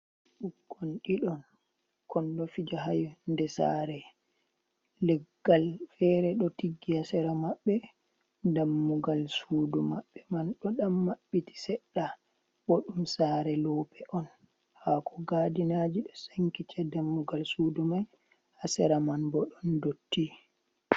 Ɓikkon ɗiɗon, kon ɗo pija haa yonnde saare. Leggal feere ɗo tiggi haa sera maɓɓe. Dammugal suudu maɓɓe man ɗo maɓɓiti seɗɗa. Bo ɗum saare loope on. Haako gaadinaaje ɗo sankiti haa dammugal suudu man. Haa sera man bo ɗon dotti.